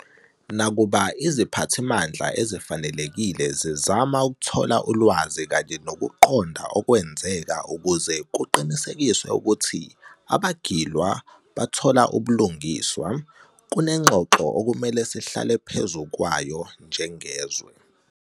Nakuba iziphathimandla ezifanelekile zizama ukuthola ulwazi kanye nokuqonda okwenzeka ukuze kuqinisekiswe ukuthi abagilwa bathola ubulungiswa, kunengxoxo okumele sihlale phezu kwayo njengezwe.